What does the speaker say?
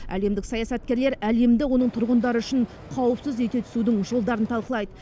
әлемдік саясаткерлер әлемді оның тұрғындары үшін қауіпсіз ете түсудің жолдарын талқылайды